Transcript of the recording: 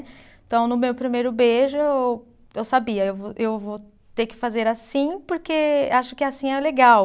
Então, no meu primeiro beijo, eu eu sabia, eu vou, eu vou ter que fazer assim porque acho que assim é legal.